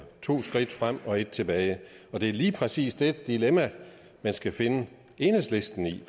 to skridt frem og et tilbage og det er lige præcis det dilemma man skal finde enhedslisten i